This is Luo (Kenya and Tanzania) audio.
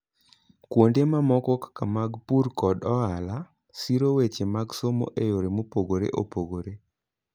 Kuonde mamoko kaka mag pur koda ohala, siro weche mag somo e yore mopogore opogore.